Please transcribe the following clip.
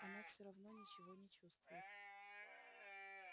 она всё равно ничего не чувствует